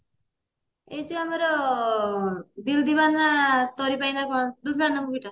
ଏଇ ଯୋଉ ଆମର ଦିଲ ଦିବାନା ତୋରି ପାଇଁ ନା କଣ movie ଟା